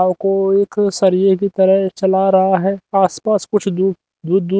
और को एक सरिए की तरह चला रहा है आसपास कुछ दूर दूर दूर--